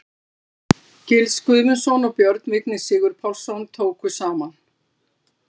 Gils Guðmundsson og Björn Vignir Sigurpálsson tóku saman.